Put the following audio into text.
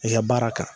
I ka baara kan